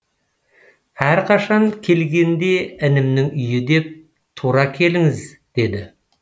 әрқашан келгенде інімнің үйі деп тура келіңіз деді